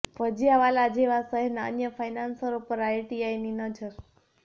ભજિયાવાલા જેવા શહેરના અન્ય ફાઈનાન્સરો પર પણ આઈટીની નજર